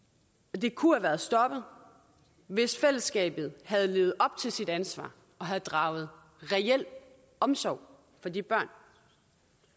de kunne have været stoppet hvis fællesskabet havde levet op til sit ansvar og havde draget reel omsorg for de børn